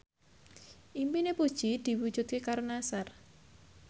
impine Puji diwujudke karo Nassar